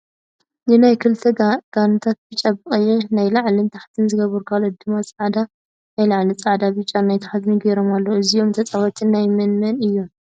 ናነይ ክልተ ጋንታታት ቢጫ ብቀይሕ ናይ ላዕልን ታሕትን ዝገበሩ ካልኦት ድማ ፃዕዳ ናይ ላዕሊ ፃዕዳን ቢጫን ናይ ታሕቲ ጌሮም ኣለዉ እዚኦም ተፃወቲ ናይ መን መን እዮም ?